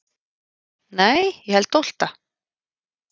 Nei ég held tólfta.